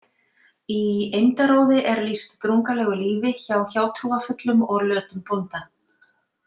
Í Eymdaróði er lýst drungalegu lífi hjá hjátrúarfullum og lötum bónda.